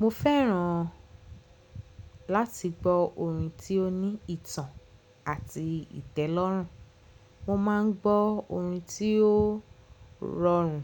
Mo fẹ́ràn láti gbọ́ orin tí ó ní ìtàn àti ìtẹ́lọ́rùn. Mo máa ń gbọ́ orin tí ó rọrùn